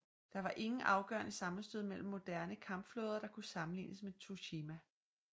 Der var ingen afgørende sammenstød mellem moderne kampflåder der kunne sammenlignes med Tsushima